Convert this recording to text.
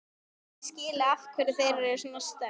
Aldrei hef ég skilið af hverju þau voru svona sterk.